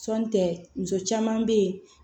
Sɔɔni tɛ muso caman bɛ yen